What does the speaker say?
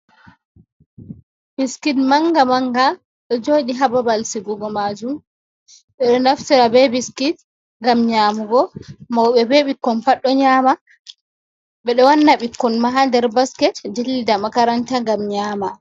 Biskit manga manga ɗo joɗi hababal sigugo majum ɓeɗo naftira be biskit ngam nyamugo mauɓe be ɓikkon pat ɗo nyama, ɓeɗo wanna ɓikkon ma hander basket dillida makaranta ngam nyama.